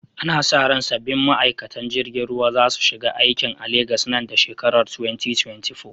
Ana sa ran sabbin ma’aikatan jirgin ruwa za su shiga aikin a Legas nan da shekarar 2024.